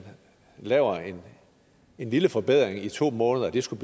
laver en lille forbedring i to måneder skulle